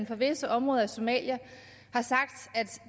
fra visse områder i somalia